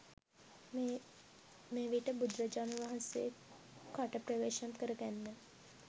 මෙවිට බුදුරජාණන් වහන්සේ කට ප්‍රවේශම් කැර ගන්න